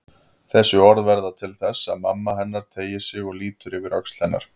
Þessi orð verða til þess að mamma hennar teygir sig og lítur yfir öxl hennar.